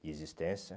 De existência.